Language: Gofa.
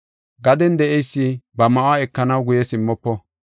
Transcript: Gaden de7eysi ba ma7uwa ekanaw guye simmofo.